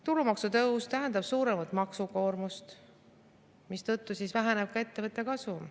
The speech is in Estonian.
Tulumaksu tõus tähendab suuremat maksukoormust, mistõttu väheneb ka ettevõtete kasum.